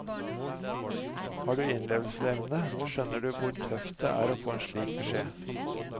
Har du innlevelsesevne, skjønner du hvor tøft det er å få en slik beskjed.